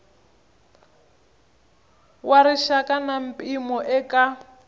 wa rixaka na mpimo eka